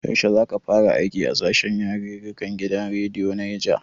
Yaushe za ka fara aiki a sashen yarirrika na gidan rediyon Neja?